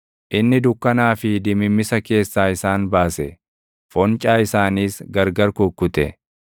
Inni dukkanaa fi dimimmisa keessaa isaan baase; foncaa isaanis gargar kukkute.